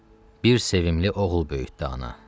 bir sevimli oğul böyütdü ana.